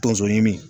Tonso ɲimi